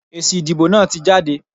Èsì ìdìbò náà tí jáde.